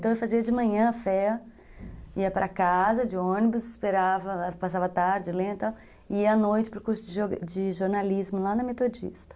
Então eu fazia de manhã a fé, ia para casa de ônibus, esperava, passava tarde, lenta, e ia à noite para o curso de jornalismo lá na Metodista.